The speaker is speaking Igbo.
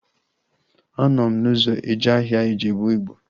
Anọ m n'ụzọ eje ahịa Ijebu Ịgbo